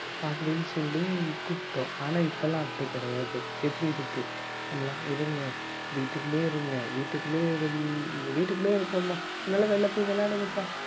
அப்படின்னு சொல்லி கூப்பிட்டோம் ஆனா இப்பெல்லாம் அப்படி கிடையாது எப்படி இருக்கு நம்ம எல்லாம் இருங்க வீட்டுக்குள்ளேயே இருங்க வீட்டுக்குள்ளயே இருந் வீட்டுக்குள்ளேயே இருக்கோம்மா நீங்க எல்லாம் வெளியில போயி விளையாடுங்கப்பா